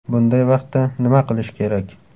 Bunday vaqtda nima qilish kerak?